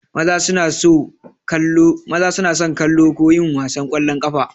Maza suna so kallo ko yin wasan ƙwallon ƙafa.